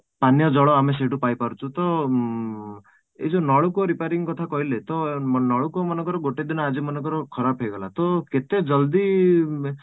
ପାନୀୟ ଜଳ ଆମେ ସହିତ ପାଇପାରୁଛୁ ତ ଉଁ ଏ ଯୋଉ ନଳକୂପ repairing କଥା କହିଲେ ତ ନଳକୂପ ମନେକର ଗୋଟେ ଦିନ ଯଦି ଆଜି ମନେକର ଖରାପ ହେଇଗଲା ତ କେତେଜଲଦି